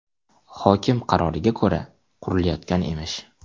Hokim qaroriga ko‘ra, qurilayotgan emish.